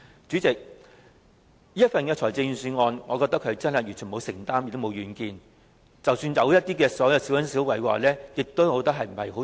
主席，我覺得這份預算案完全沒有承擔，亦沒有遠見，即使有一些小恩小惠亦幫助不大。